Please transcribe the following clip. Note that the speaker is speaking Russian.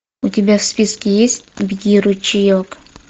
у тебя в списке есть беги ручеек